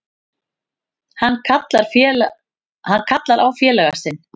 Hann kallar á félaga sinn.